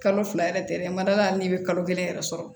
Kalo fila yɛrɛ tɛ dɛ a ma d'a la hali n'i bɛ kalo kelen yɛrɛ sɔrɔ